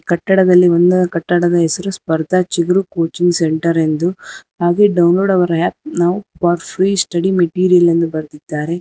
ಕಟ್ಟಡದಲ್ಲಿ ಒಂದ ಕಟ್ಟಡದ ಹೆಸರು ಸ್ಪರ್ಧಾ ಚಿಗುರು ಕೋಚಿಂಗ್ ಸೆಂಟರ್ ಎಂದು ಹಾಗಿ download our app for free study material ಎಂದು ಬರದಿದ್ದಾರೆ.